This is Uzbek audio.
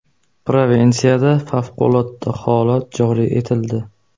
Provinsiyada favqulodda holat joriy etildi.